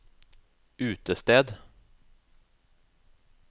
utested